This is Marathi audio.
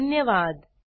सहभागासाठी धन्यवाद